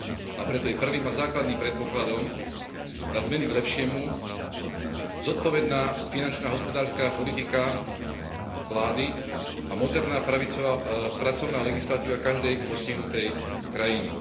A preto je prvým a základným predpokladom na zmeny k lepšiemu zodpovedná finančná hospodárska politika vlády a moderná pravicová pracovná legislatíva každej postihnutej krajiny.